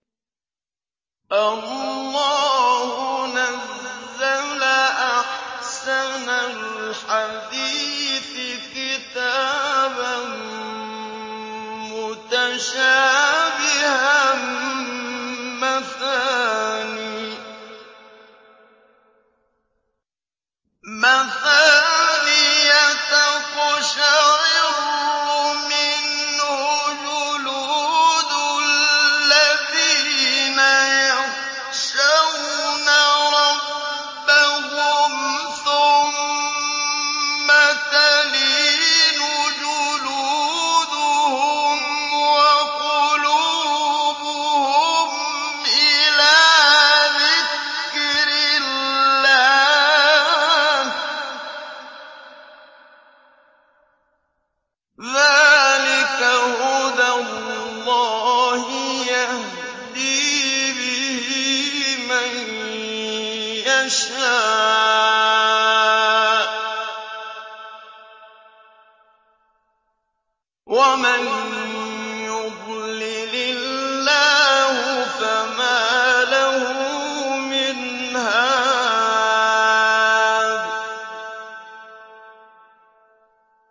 اللَّهُ نَزَّلَ أَحْسَنَ الْحَدِيثِ كِتَابًا مُّتَشَابِهًا مَّثَانِيَ تَقْشَعِرُّ مِنْهُ جُلُودُ الَّذِينَ يَخْشَوْنَ رَبَّهُمْ ثُمَّ تَلِينُ جُلُودُهُمْ وَقُلُوبُهُمْ إِلَىٰ ذِكْرِ اللَّهِ ۚ ذَٰلِكَ هُدَى اللَّهِ يَهْدِي بِهِ مَن يَشَاءُ ۚ وَمَن يُضْلِلِ اللَّهُ فَمَا لَهُ مِنْ هَادٍ